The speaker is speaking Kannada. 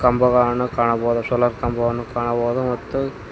ಕಂಬಗಳನ್ನು ಕಾಣಬಹುದು ಸೋಲಾರ್ ಕಂಬವನ್ನು ಕಾಣಬಹುದು ಮತ್ತು--